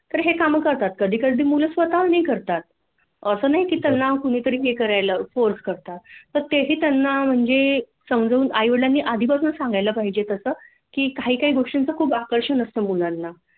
तर हे काम करतात कधी कधी ती मुल स्वतःहून ही करतात अस नाही की त्यांना कुणीतरी हे करायला फाेर्स करतात तर तेही त्यांना म्हणजे समजून आईवडीलांनी आधी पासूनच सांगायला पाहीजे तसं की काही काही गोष्टींच खूप आकर्षण असत मुलांना